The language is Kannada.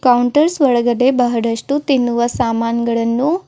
ಕೌಂಟರ್ಸ್ ಒಳಗಡೆ ಬಹಳಷ್ಟು ತಿನ್ನುವ ಸಾಮಾನ್ಗಳನ್ನು--